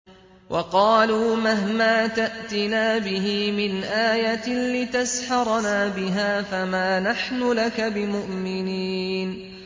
وَقَالُوا مَهْمَا تَأْتِنَا بِهِ مِنْ آيَةٍ لِّتَسْحَرَنَا بِهَا فَمَا نَحْنُ لَكَ بِمُؤْمِنِينَ